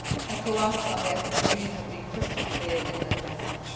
ECOWAS and the African Union have been crystal clear in their message.